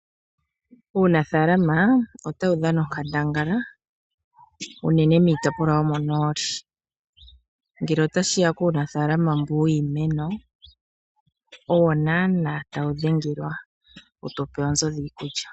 Uunafaalama otawu dhana onkandangala unene miitopolwa yo monooli. Ngele ota shiya puunafaalama mbu wiimeno, owo naana tawu dhengelwa wu tupe oonzo dhiikulya.